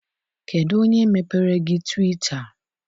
Kedụ onye mepere gị twita?